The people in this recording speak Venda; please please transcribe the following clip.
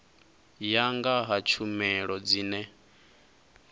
ya nga ha tshumelo dzine